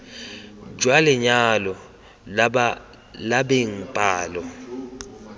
jwa lenyalo la beng palo